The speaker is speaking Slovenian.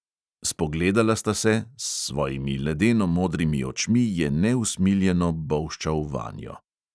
Spogledala sta se, s svojimi ledeno modrimi očmi je neusmiljeno bolščal vanjo.